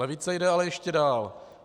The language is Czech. Levice jde ale ještě dál.